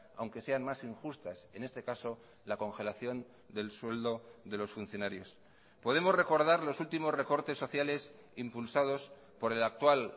aunque sean más injustas en este caso la congelación del sueldo de los funcionarios podemos recordar los últimos recortes sociales impulsados por el actual